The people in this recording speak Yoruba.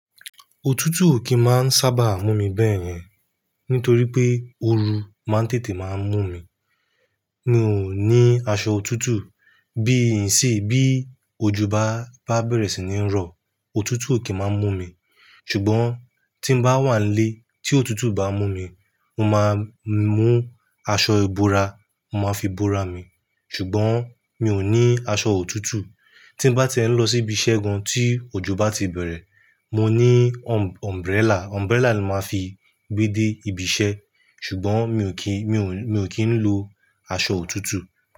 Òtútù ò kì í máa ń sábà mú mi bẹ́ẹ̀ yẹn. Nítorí pé ooru máa ń tètè máa mú mi. Mi ò ní aṣọ òtútù. Bí ìsín, bí ojo bá, bá bẹ̀rẹ̀ sì ní ń rọ, òtútù ó kì í máa ń mú mi. Ṣùgbọ́n tí ń bá wà ń lé, tí òtútù bá mú mi, mo máa ń mú aṣọ ìbora, mo máa fi bora mi. Ṣùgbọ́n mi ò ní aṣọ òtútù. Tí ń bá ti ń lọ síbi iṣẹ́ gan tí ojo bá ti bẹ̀rẹ̀, mo ní umbrella, umbrella ló máa ń fi gbé dé ibi iṣẹ́. Ṣùgbọ́n mi ò kí, mi ò ń, mi ò kí ń lo aṣọ òtútù.